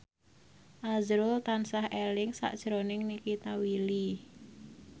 azrul tansah eling sakjroning Nikita Willy